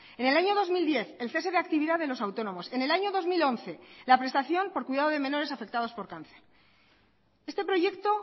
en el año dos mil diez el cese de actividad de los autónomos en el año dos mil once la prestación por cuidado de menores afectados por cáncer este proyecto